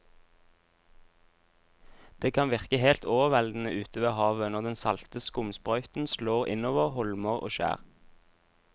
Det kan virke helt overveldende ute ved havet når den salte skumsprøyten slår innover holmer og skjær.